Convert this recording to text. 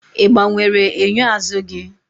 ị gbanwere enyo azụ gị?